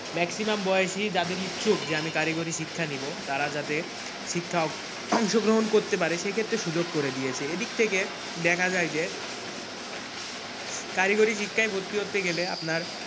Maximum বয়সী যাদের ইচ্ছুক যে আমি কারিগরি শিক্ষা নিব তারা যাতে শিক্ষা অংশগ্রহণ করতে পারে সে ক্ষেত্রে সুযোগ করে দিয়েছে এদিক থেকে দেখা যায় যে কারিগরি শিক্ষায় ভর্তি হতে গেলে আপনার,